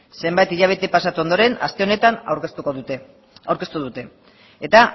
zenbait hilabete pasatu ondoren aste honetan aurkeztu dute eta